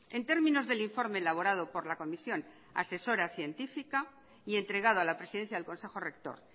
en términos del informe elaborado por la comisión asesora científica y entregado a la presidencia del consejo rector